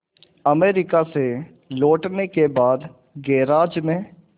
America से लौटने के बाद गैराज में